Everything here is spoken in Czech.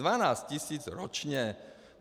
Dvanáct tisíc ročně.